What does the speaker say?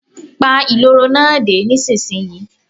Pa ìloro náà dé, nísinsìnyí.